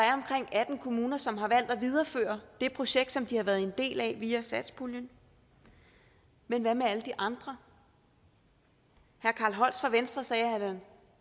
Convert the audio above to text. atten kommuner som har valgt at videreføre det projekt som de har været en del af via satspuljen men hvad med alle de andre herre carl holst fra venstre sagde at han